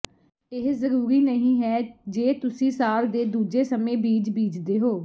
ਇਹ ਜ਼ਰੂਰੀ ਨਹੀਂ ਹੈ ਜੇ ਤੁਸੀਂ ਸਾਲ ਦੇ ਦੂਜੇ ਸਮੇਂ ਬੀਜ ਬੀਜਦੇ ਹੋ